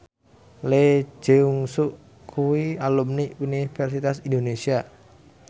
Lee Jeong Suk kuwi alumni Universitas Indonesia